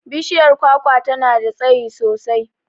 Bishiyar kwakwa tana da tsayi sosai.